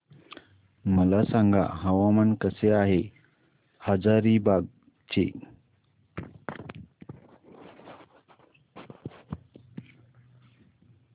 मला सांगा हवामान कसे आहे हजारीबाग चे